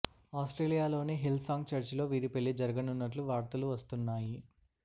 ఆస్ట్రేలియాలోని Hillsong చర్చిలో వీరి పెళ్లి జరుగనున్నట్టు వార్తలు వస్తున్నాయి